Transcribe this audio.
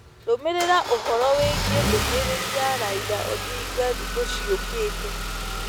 rũmirira ũhoro wĩĩgĩe ndumĩriri ya raila odinga thĩkũ cĩũkate